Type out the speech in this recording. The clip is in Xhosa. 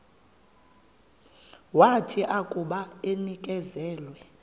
wathi akuba enikezelwe